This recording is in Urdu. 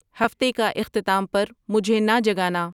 ہفتے کا اختتام پر مجھے نہ جگانا